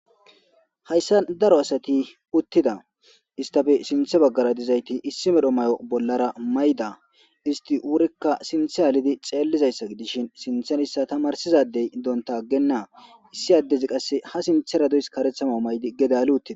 Hayssa daro asati uttida istafe sinthe baggara dizayti issi medho may'o bollara mayda isti wurikka sinthe aalidi xeellizayssa gidishin sinthenissa tamarsizadey donta aggennaa issi addezi qasse ha sinthera duys karethama may'di gedali uttida.